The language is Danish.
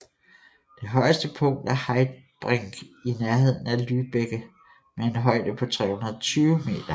Det højeste punkt er Heidbrink i nærheden af Lübbecke med en højde på 320 meter